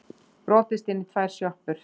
Brotist inn í tvær sjoppur